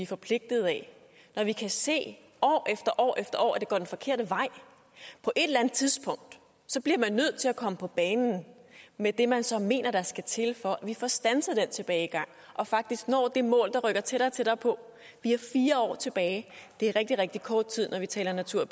forpligtet af når vi kan se år efter år efter år at det går den forkerte vej på et eller andet tidspunkt bliver man nødt til at komme på banen med det man så mener der skal til for at vi får standset den tilbagegang og faktisk når det mål der rykker tættere og tættere på vi har fire år tilbage det er rigtig rigtig kort tid når vi taler natur